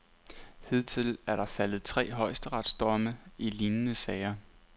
Hidtil er der faldet tre højesteretsdomme i lignende sager.